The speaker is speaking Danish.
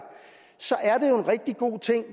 så er det en rigtig god ting